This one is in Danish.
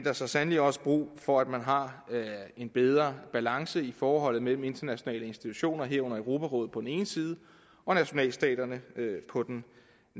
er så sandelig også brug for at man har en bedre balance i forholdet mellem internationale institutioner herunder europarådet på den ene side og nationalstaterne på den